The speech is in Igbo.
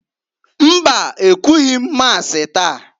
Mba! Ekwughi m Masi taa.